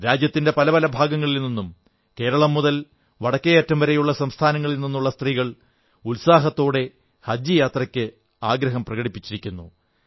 രാജ്യത്തിന്റെ പല പല ഭാഗങ്ങളിൽ നിന്നും കേരളം മുതൽ വടക്കേയറ്റം വരെയുള്ള സംസ്ഥാനങ്ങളിൽ നിന്നുള്ള സ്ത്രീകൾ ഉത്സാഹത്തോടെ ഹജ്ജ്് യാത്രയ്ക്ക് ആഗ്രഹം പ്രകടിപ്പിച്ചിരിക്കുന്നു